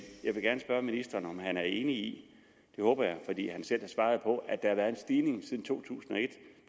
jeg vil gerne spørge ministeren om han er enig i det håber jeg fordi han selv har svaret på at der har været en stigning siden to tusind og et